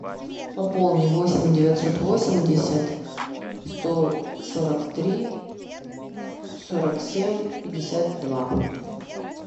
пополни восемь девятьсот восемьдесят сто сорок три сорок семь пятьдесят два